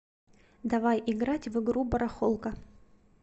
давай играть в игру барахолка